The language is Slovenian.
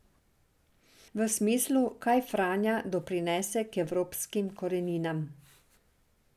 V smislu, kaj Franja doprinese k evropskim koreninam.